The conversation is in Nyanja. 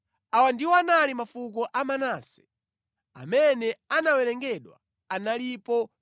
Awa ndiwo anali mafuko a Manase. Amene anawerengedwa analipo 52,700.